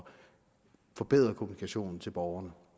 forbedre kommunikationen til borgerne